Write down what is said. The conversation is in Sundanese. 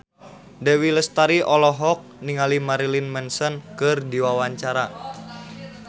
Dewi Lestari olohok ningali Marilyn Manson keur diwawancara